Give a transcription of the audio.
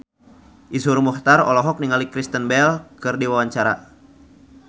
Iszur Muchtar olohok ningali Kristen Bell keur diwawancara